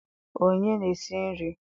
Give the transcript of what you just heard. Onye na-esi nri?